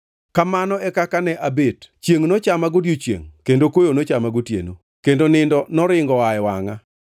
Kamano e kaka ne abet; chiengʼ nochama godiechiengʼ kendo koyo nochama gotieno, kendo nindo noringo oa e wangʼa.